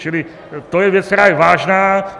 Čili to je věc, která je vážná.